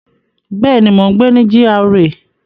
Bẹ́ẹ̀ni, mo n gbé ní GRA